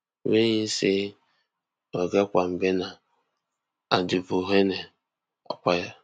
wey im say oga kwabena aduboahene acquire